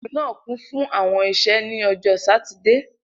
Ilu naa kun fun awọn iṣẹ ni Ọjọ Satidee